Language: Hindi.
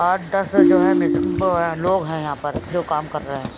आठ दस जो है मिस बी लोग हैं यहां पर जो काम कर रहे हैं।